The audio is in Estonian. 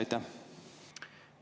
Aitäh!